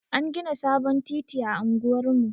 An gina sabon titi a unguwar mu.